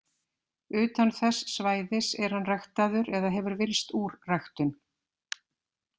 Utan þess svæðis er hann ræktaður eða hefur villst úr ræktun.